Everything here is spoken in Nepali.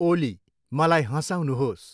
ओली, मलाई हँसाउनुहोस्।